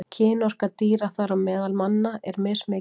Kynorka dýra, þar á meðal manna, er mismikil.